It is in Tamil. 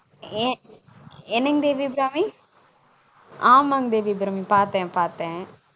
என்னங்க தேவி அபிராமி ஆமாங்க தேவி அபிராமி பாத்தன் பாத்தன்